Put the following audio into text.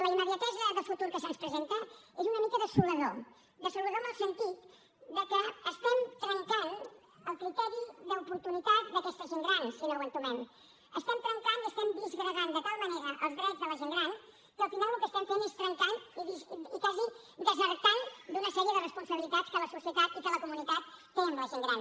la immediatesa de futur que se’ns presenta és una mica desoladora desoladora en el sentit que estem trencant el criteri d’oportunitat d’aquesta gent gran si no ho entomem estem trencant i estem disgregant de tal manera els drets de la gent gran que al final el que estem fent és trencant i quasi desertant d’una sèrie de responsabilitats que la societat i que la comunitat tenen amb la gent gran